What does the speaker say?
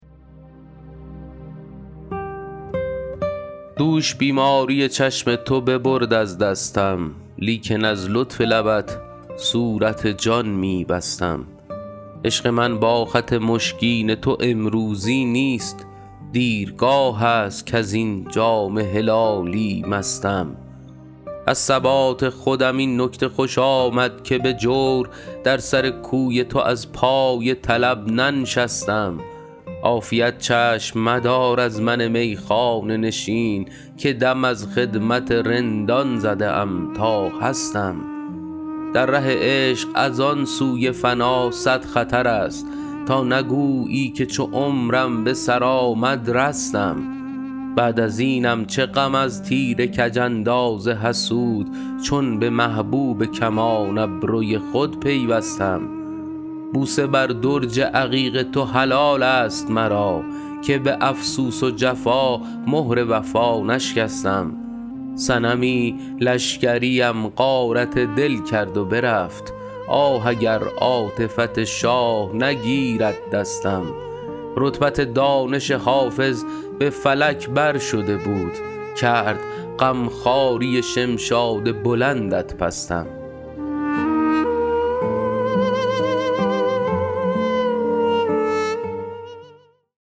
دوش بیماری چشم تو ببرد از دستم لیکن از لطف لبت صورت جان می بستم عشق من با خط مشکین تو امروزی نیست دیرگاه است کز این جام هلالی مستم از ثبات خودم این نکته خوش آمد که به جور در سر کوی تو از پای طلب ننشستم عافیت چشم مدار از من میخانه نشین که دم از خدمت رندان زده ام تا هستم در ره عشق از آن سوی فنا صد خطر است تا نگویی که چو عمرم به سر آمد رستم بعد از اینم چه غم از تیر کج انداز حسود چون به محبوب کمان ابروی خود پیوستم بوسه بر درج عقیق تو حلال است مرا که به افسوس و جفا مهر وفا نشکستم صنمی لشکریم غارت دل کرد و برفت آه اگر عاطفت شاه نگیرد دستم رتبت دانش حافظ به فلک بر شده بود کرد غم خواری شمشاد بلندت پستم